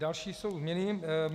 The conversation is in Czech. Další jsou změny.